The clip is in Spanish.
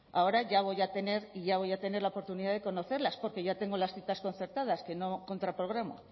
ahora ya voy a tener y ya voy a tener la oportunidad de conocerlas porque ya tengo las citas concertadas que no contraprogramo